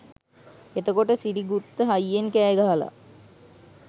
එතකොට සිරිගුත්ත හයියෙන් කෑ ගහලා